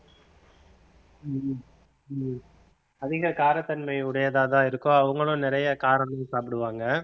உம் உம் அதிக காரத்தன்மை உடையதாதான் இருக்கும் அவங்களும் நிறைய காரமும் சாப்பிடுவாங்க